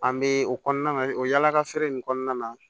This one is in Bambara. An bɛ o kɔnɔna o yaalaka feere in kɔnɔna na